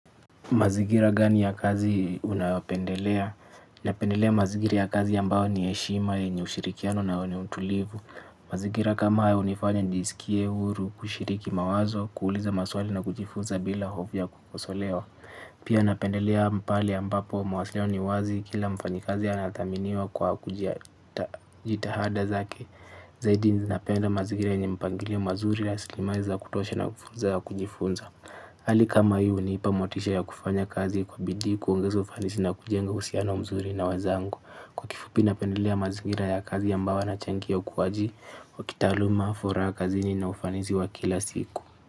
Mazingira gani ya kazi unapendelea? Napendelea mazingira ya kazi ambao ni heshima yenye ushirikiano na wenye utulivu. Mazingira kama haya hunifanya nijisikie huru kushiriki mawazo, kuuliza maswali na kujifunza bila hofu ya kukosolewa. Pia napendelea pale ambapo mawasiliano ni wazi kila mfanyikazi anathaminiwa kwa jitihada zake. Zaidi ninapenda mazingira yenye mpangilio mazuri ya rasilimali za kutosha na fursa ya kujifunza. Hali kama hii hunipa motisha ya kufanya kazi kwa bidii kuongeza ufanisi na kujenga uhusiano mzuri na wenzangu. Fupi napendelea mazingira ya kazi ambao yanachangia ukuaji wa kitaaluma, furaha kazini na ufanisi wa kila siku.